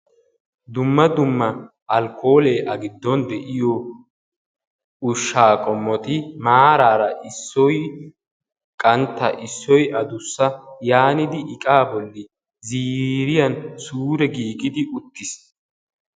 Dumma dumma alkkoolee a giddon de'iyo ushshaa qommoti maaraara Issoyi qantta issoyi adussa yaanidi iqaa bolli ziiriyan sure giigidi uttis.